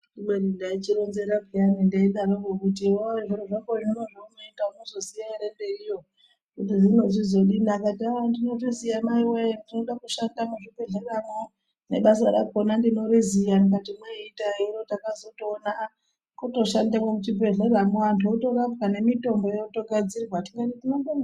Kubeni ndaichironzera peyana ndeidaroko kuti iwewe zviro zvako zvino zvaunoita unozoziya ere mberiyo kuti zvinochizodini akati aaaaa ndinotoziya maiwoye ndiona kushanda muzvibhedhleramo nebasa rakona ndinoriziya ndikati imwei itai hino takazotoona aaa kutoshandemwo muchibhedhleramo angu otorapwa nemitombo yotogadzirwa ndikati tinobonga.